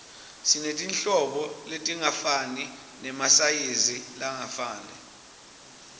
sinetinhlobo letingafani nemasayizi langafani